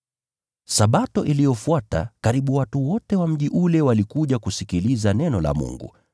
Sabato iliyofuata, karibu watu wote wa mji walikuja kusikiliza neno la Bwana.